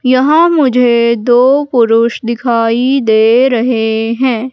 यहां मुझे दो पुरुष दिखाई दे रहे हैं।